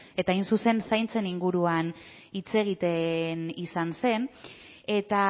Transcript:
eta hain zuzen zaintzen inguruan hitz egiten izan zen eta